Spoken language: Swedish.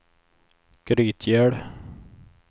Grytgöl